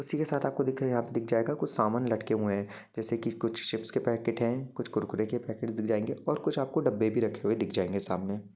उसी के साथ ही आपको दिख जायेगा कुछ समान लटके हुए है जेसे की कुछ चिप्स के पैकेट है कुछ कुरकुर के पैकेट दिख जयेंगे और कुछ आपको डब्बे भी रखे हुए दिख जायेंगे सामने ।